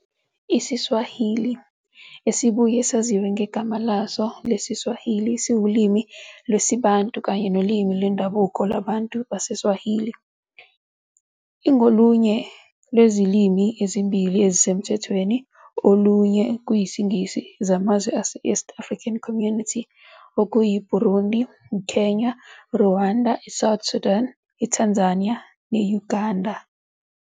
IsiSwahili, esibuye saziwa ngegama laso lesiSwahili, siwulimi lwesiBantu kanye nolimi lwendabuko lwabantu baseSwahili. Ingolunye lwezilimi ezimbili ezisemthethweni, olunye kuyisiNgisi, zamazwe ase-East African Community, EAC, okuyiBurundi, iKenya, iRwanda, iSouth Sudan, iTanzania ne-Uganda.